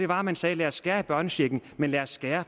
var at man sagde lad os skære i børnechecken men lad os skære